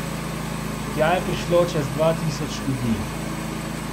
Tja je prišlo čez dva tisoč ljudi!